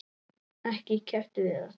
Ekki keppt við alla?